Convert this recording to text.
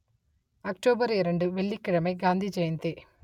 October இரண்டு வெள்ளி கிழமை காந்தி ஜெயந்தி